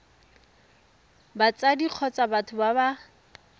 batsadi kgotsa batho ba ba